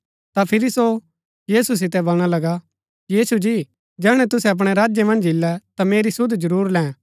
ता फिरी सो यीशु सितै बलणा लगा यीशु जी जैहणै तुसै अपणै राज्य मन्ज इल्लै ता मेरी सुध जरुर लैं